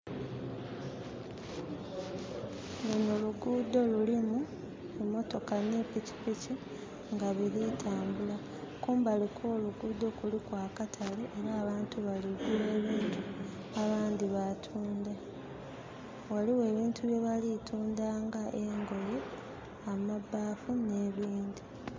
Luno luguudo lulimu emotoka ne pikipiki nga biri tambula. Kumbali kwo luguudo kuliku akatale na bantu baligula ebintu abandi batunda. Waliwo ebintu bye bali tunda nga engoye amabaafu ne bindi